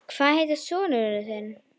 Hvað heitir sonur þinn?